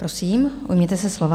Prosím, ujměte se slova.